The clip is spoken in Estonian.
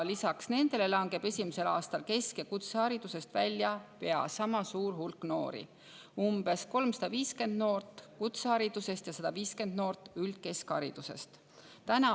Lisaks nendele langeb esimesel aastal kesk‑ ja kutseharidusest välja pea sama suur hulk noori: umbes 350 noort kutseharidusest ja 150 noort üldkeskharidusest.